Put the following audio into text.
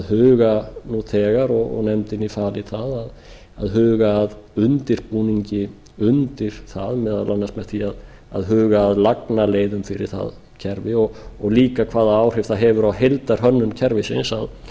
huga nú þegar og nefndinni falið að huga að undirbúningi undir það meðal annars með því að huga að lagnaleiðir fyrir það kerfi og líka hvaða áhrif það hefur á heildarhönnun kerfisins